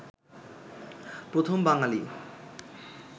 প্রথম বাঙালি